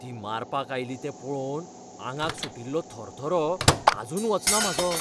ती मारपाक आयली तें पळोवन आंगाक सुटिल्लो थरथरो आजून वचना म्हाजो.